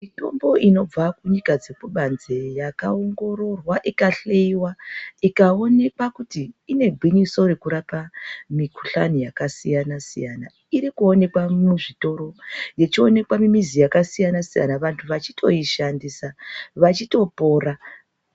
Mitomboo inobva nyika dzekubanze yakaongororwa ika hloiwa, ikaoneke kuti inegwinyiso rekurapa mikhuhlani yakasiyana-siyana. Irikuoneka muzvitoro, ichioneka mumizi yakasiyana-siyana vantu vachitoishandisa vachitopora.